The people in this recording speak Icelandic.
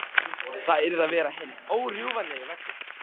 Það yrði að vera hinn órjúfanlegi veggur.